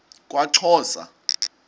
kwaxhosa